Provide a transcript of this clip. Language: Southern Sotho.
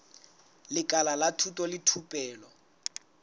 lekala la thuto le thupelo